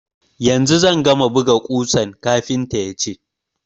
Yanzu zan gama buga ƙusan, kafinta ya ce.